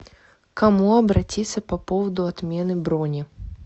к кому обратиться по поводу отмены брони